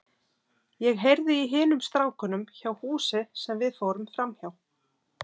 Ég heyrði í hinum strákunum hjá húsi sem við fórum framhjá.